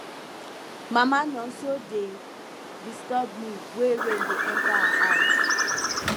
mama nonso dey disturb me wey rain dey enter her house